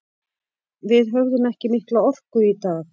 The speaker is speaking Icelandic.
Við höfðum ekki mikla orku í dag.